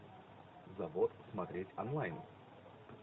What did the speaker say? завод смотреть онлайн